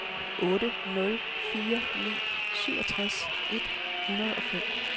otte nul fire ni syvogtres et hundrede og fem